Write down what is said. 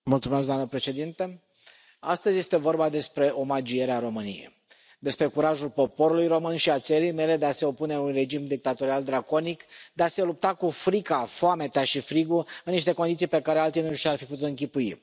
Doamnă președintă, astăzi este vorba despre omagierea României, despre curajul poporului român și al țării mele de a se opune unui regim dictatorial draconic, de a se lupta cu frica, foametea și frigul, în niște condiții pe care alții nu și le ar fi putut închipui.